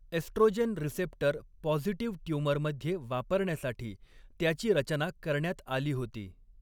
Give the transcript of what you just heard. Estrogen receptor positive ट्यूमरमध्ये वापरण्यासाठी त्याची रचना करण्यात आली होती.